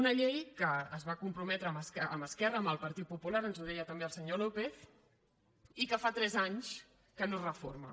una llei que es va comprometre amb esquerra amb el partit popular ens ho deia també el senyor lópez i que fa tres anys que no es reforma